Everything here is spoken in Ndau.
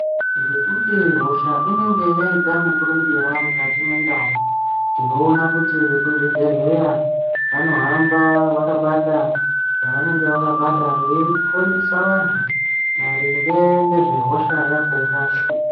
Ngekuti hosha inenge yaita mukurumbira mukati mwendau tinoona kuti vekuzvibhedhlera vanohamba vakabata zvevanenge vakabata veifundise vantu maringe ngezvehosha yakhona.